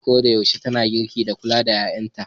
Uwar koda yaushe tana girki da kula da 'ƴa'ƴanta.